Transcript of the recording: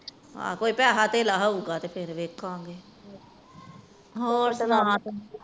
ਹਨ ਕੋਈ ਪੈਸੇ ਤੇਲ ਹੋਊਗਾ ਤਾ ਵੇਖਾਂਗੇ